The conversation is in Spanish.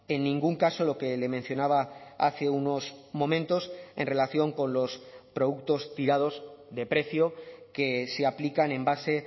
en ningún caso lo que le mencionaba hace unos momentos en relación con los productos tirados de precio que se aplican en base